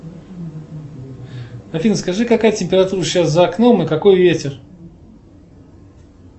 афина скажи какая температура сейчас за окном и какой ветер